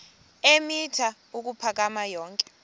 eemitha ukuphakama yonke